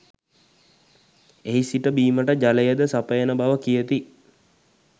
එහි සිට බීමට ජලයද සපයන බව කියති.